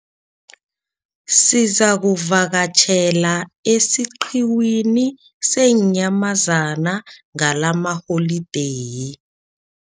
Sizakuvakatjhela esiqhiwini seenyamazana ngalamaholideyi.